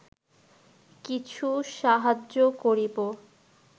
কিছু সাহায্য করিব